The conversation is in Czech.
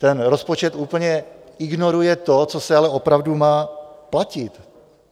Ten rozpočet úplně ignoruje to, co se ale opravdu má platit.